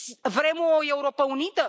Vrem o Europă unită?